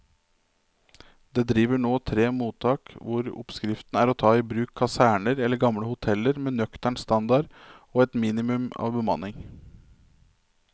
Det driver nå tre mottak hvor oppskriften er å ta i bruk kaserner eller gamle hoteller med nøktern standard og et minimum av bemanning.